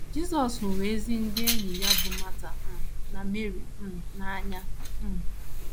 Jisọs hụrụ ezi ndị enyi ya bụ́ Mata um na Meri um n’anya um.